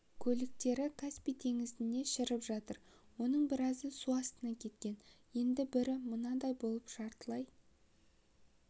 көліктері каспий теңізінде шіріп жатыр оның біразы су астына кеткен енді бірі мынадай болып жартылай